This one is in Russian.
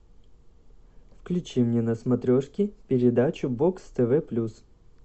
включи мне на смотрешки передачу бокс тв плюс